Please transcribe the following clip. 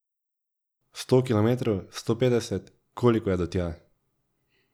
Sto kilometrov, sto petdeset, koliko je do tja?